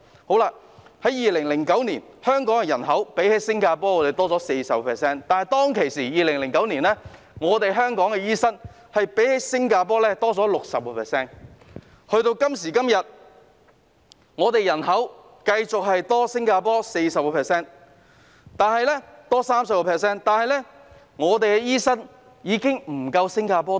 在2009年，香港人口較新加坡多 40%， 而香港當時的醫生數目較新加坡多 60%， 但時至今日，我們人口仍然較新加坡多 30%， 但我們的醫生人手已經不及新加坡。